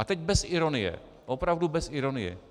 A teď bez ironie, opravdu bez ironie.